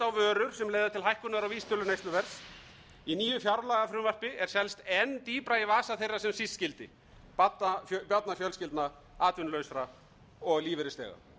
á vísitölu neysluverðs í nýju fjárlagafrumvarpi er seilst enn dýpra í vasa þeirra sem síst skyldi barnafjölskyldna atvinnulausra og lífeyrisþega